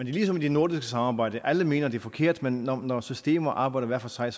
er ligesom i det nordiske samarbejde alle mener det er forkert men når systemer arbejder hver for sig